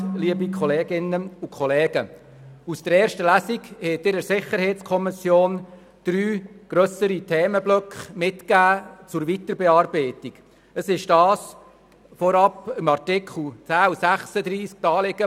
Aus der ersten Lesung hat der Grosse Rat der SiK drei grössere Themenblöcke zur Weiterbearbeitung mitgegeben.